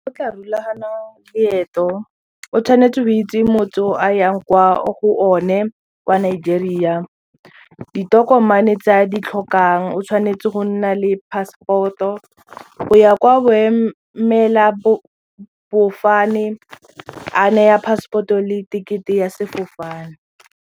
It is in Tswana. tla rulaganya leeto o tshwanetse go itse motse o a yang kwa go one kwa Nigeria ditokomane tse a di tlhokang o tshwanetse go nna le passport-o, go ya kwa boemela fofane a neya passport-o le ticket-e ya sefofane.